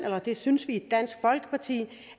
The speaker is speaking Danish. det synes vi i dansk folkeparti